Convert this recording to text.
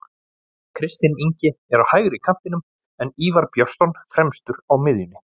Kristinn Ingi er á hægri kantinum en Ívar Björnsson fremstur á miðjunni.